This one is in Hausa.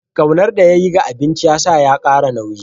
Ƙaunar da ya yi ga abinci ya sa ya ƙara nauyi.